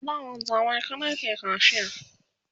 a da wanzamai kaɗai ke kacia